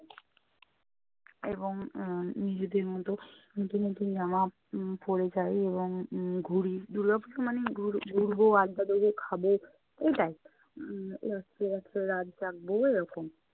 এবং আহ উম নিজেদের মতো নতুন নতুন জামা উম পরে যাই এবং উম ঘুরি। দুর্গাপূজো মানেই ঘুর~ ঘুরবো, আড্ডা দেবো, খাবো এটাই। একসাথে রাত জাগবো এরকম।